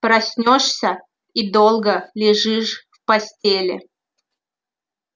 проснёшься и долго лежишь в постели